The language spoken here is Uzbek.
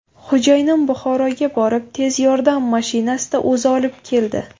Xo‘jayinim Buxoroga borib, tez yordam mashinasida o‘zi olib keldi.